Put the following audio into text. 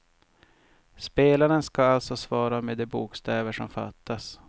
Spelaren ska alltså svara med de bokstäver som fattas.